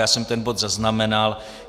Já jsem ten bod zaznamenal.